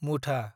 मुथा